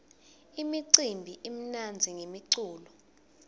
imicimbi imnandzi ngemculo